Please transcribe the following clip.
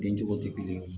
Bin cogo tɛ kelen ye